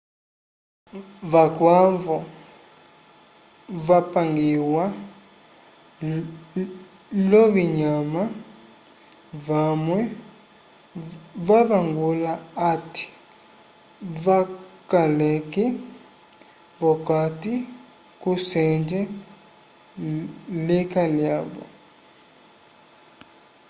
vakwavo vapangiwa l'ovinyama vamwe vavangula hati vakaleke v'okati kusenge lika lyavo